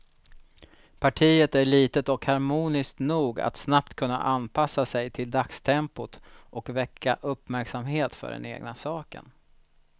Partiet är litet och harmoniskt nog att snabbt kunna anpassa sig till dagstempot och väcka uppmärksamhet för den egna saken.